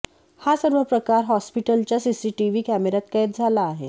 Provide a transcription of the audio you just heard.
हा सर्व प्रकार हॉस्पिटलच्या सीसीटीव्ही कॅमेऱ्यात कैद झाला आहे